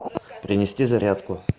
принести зарядку